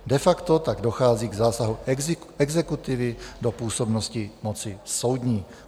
De facto tak dochází k zásahu exekutivy do působnosti moci soudní."